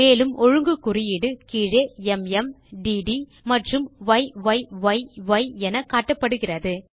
மேலும் ஒழுங்கு குறியீடு கீழே ம் டிடி மற்றும் ய்யி என காட்டப்படுகிறது